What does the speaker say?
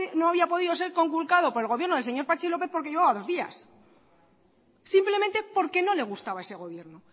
no había podido ser conculcado por el gobierno del señor patxi lópez porque llevaba dos días simplemente porque no le gustaba ese gobierno